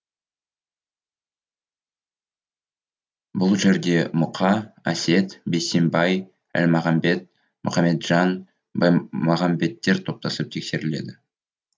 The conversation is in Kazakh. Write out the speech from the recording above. бұл жерде мұқа әсет бейсембай әлмағамбет мұқаметжан баймағамбеттер топтасып тексеріледі